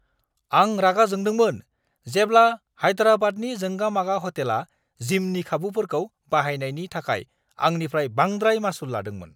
आं रागा जोंदोंमोन जेब्ला हायदेराबादनि जोंगा-मागा ह'टेला जिमनि खाबुफोरखौ बाहायनायनि थाखाय आंनिफ्राय बांद्राय मासुल लादोंमोन!